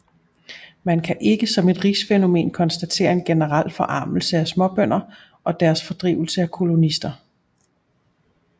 Man kan ikke som et rigsfænomen konstatere en generel forarmelse af småbønder og deres fordrivelse af kolonister